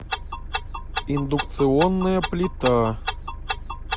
индукционная плита